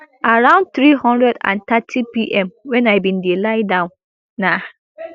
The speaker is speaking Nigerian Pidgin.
around three hundred and thirtypm wen i bin dey lie down na